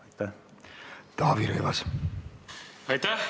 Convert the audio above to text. Aitäh!